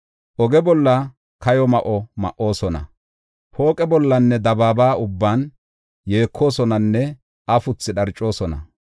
Oge bolla kayo ma7o ma7oosona; pooqe bollanne dabaaba ubban yeekoosonanne afuthi dharcoosona.